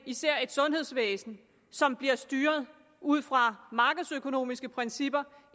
især et sundhedsvæsen som blev styret ud fra markedsøkonomiske principper